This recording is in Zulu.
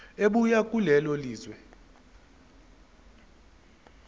ebuya kulelo lizwe